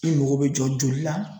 E mago bɛ jɔ joli la